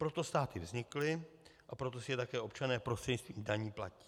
Proto státy vznikly a proto si je také občané prostřednictvím daní platí.